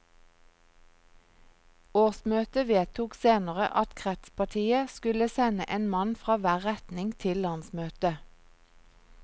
Årsmøtet vedtok senere at kretspartiet skulle sende en mann fra hver retning til landsmøtet.